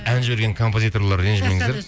ән жіберген композиторлар ренжімеңіздер